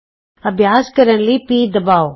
ਅਭਿਆਸ ਕਰਨ ਲਈ ਪੀ ਦਬਾਉ